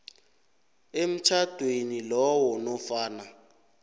emtjhadweni lowo nofana